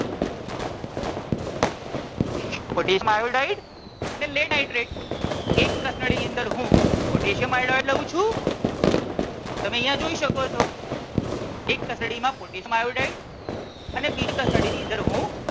potassium iodide અને lead nitrate એક કસનળીની અંદર હું potassium iodide લઉં છું તમે અહિયાં જોઈ શકો છો. એક કસનળી માં potassium iodide અને બીજી કસનળીની અંદર હું